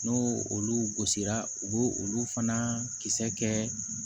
N'o olu gosira u b'o olu fana kisɛ kɛ